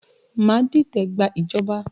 Má dìtẹ̀ gba ìjọba!